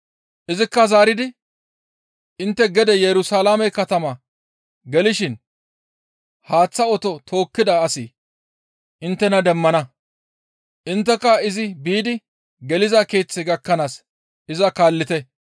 Izikka zaaridi, «Intte gede Yerusalaame katama gelishin haaththa oto tookkida asi inttena demmana; intteka izi biidi geliza keeththe gakkanaas iza kaallite.